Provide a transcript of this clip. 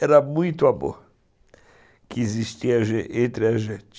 Era muito amor que existia entre a gente.